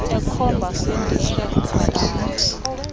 ekhomba sendikhe ndamthi